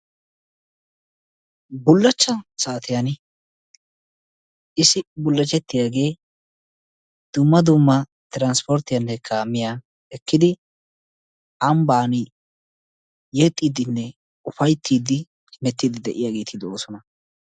bullacha saatiyani issi bulachettiyagee dumma dumma kaamiya ekkidi ambaani yexiidinne ufaytiidi hemetiidi de'iyagee beetoosona.